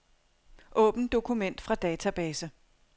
Åbn dokument fra database.